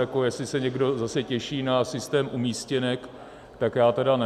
Jestli se někdo zase těší na systém umístěnek, tak já teda ne.